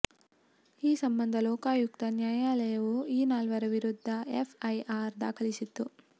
ಈ ಸಂಬಂಧ ಲೋಕಾಯುಕ್ತ ನ್ಯಾಯಾಲಯವು ಈ ನಾಲ್ವರ ವಿರುದ್ಧ ಎಫ್ಐಆರ್ ದಾಖಲಿಸಿತ್ತು